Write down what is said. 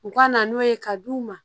U ka na n'o ye ka d'u ma